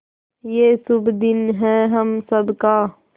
ये शुभ दिन है हम सब का